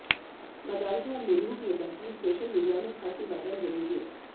मदालसा और मिमोह की यह तस्वीर सोशल मीडिया में खासी वायरल हो रही है